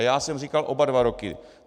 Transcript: A já jsem říkal oba dva roky.